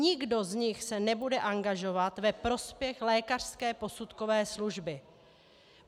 Nikdo z nich se nebude angažovat ve prospěch lékařské posudkové služby.